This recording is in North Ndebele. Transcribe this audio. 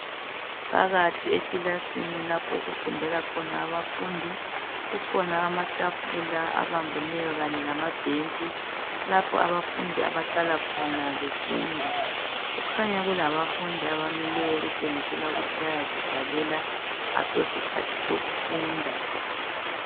Phakathi ekilasini lapho okufundela khona abafundi kukhona amatafula abambeneyo kanye lamabhentshi lapho abafundi abahlala khona befunda kukhanya kulabafundi abamileyo kutshengisela ukuthi bayazidlalela asosikhathi sokufunda